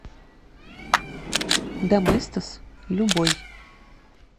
доместос любой